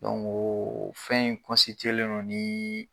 fɛn in le ni